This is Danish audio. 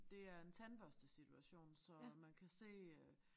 Det er en tandbørstesituation så man kan se øh